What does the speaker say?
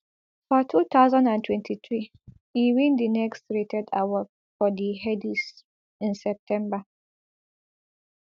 for two thousand and twenty-three e win di next rated award for di headies in september